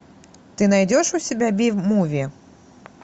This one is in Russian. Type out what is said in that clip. ты найдешь у себя би муви